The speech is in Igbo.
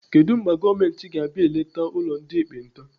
Kedụ mgbe gọọmenti ga-abịa eleta ụlọ ndị ekpenta?